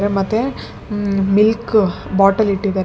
ಮತ್ತೆ ಹ್ಮ - milk bottle ಇಟ್ಟಿದ್ದಾರೆ ಮತ್--